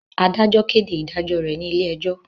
Adajọ kede idajọ re ni ile-ẹjo